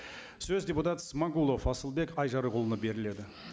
сөз депутат смағұлов асылбек айжарықұлына беріледі